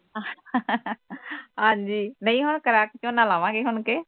ਹਾਂ ਜੀ ਨਹੀਂ ਹੁਣ ਕਣਕ ਝੋਨਾ ਲਵਾਂਗੇ ਹੁਣਕੇ.